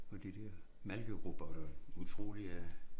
Og de dér malkerobotter utroligt at